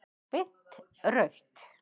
Beint rautt.